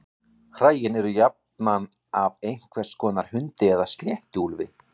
Hræin eru jafnan af einhvers konar hundi eða sléttuúlfi.